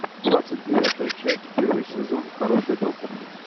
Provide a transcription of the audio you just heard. двадцать девятая часть первый сезон хороший доктор